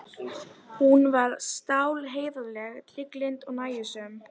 En auðvitað,- aðeins ef ég vildi.